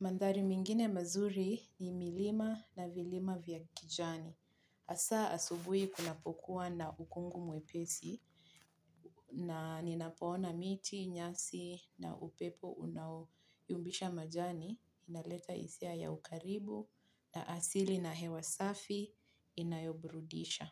Mandhari mengine mazuri ni milima na milima vya kijani. Hasa asubuhi kunapokuwa na ukungu mwepesi, na ninapoona miti, nyasi na upepo unayumbisha majani. Inaleta hisia ya ukaribu na asili na hewa safi inayo burudisha.